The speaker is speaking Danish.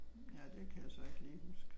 Ja det kan jeg så ikke lige huske